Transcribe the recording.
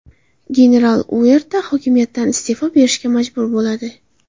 General Uerta hokimiyatdan iste’fo berishga majbur bo‘ladi.